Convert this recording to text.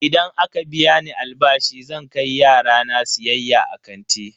Idan aka biya ni albashi zan kai yara na siyayya a kanti.